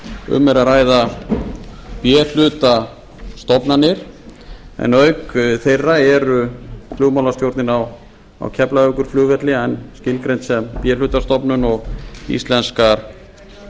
um er að ræða b hluta stofnanir en auk þeirra eru flugmálastjórnin á keflavíkurflugvelli enn tilgreind sem b hluta stofnun og íslenskar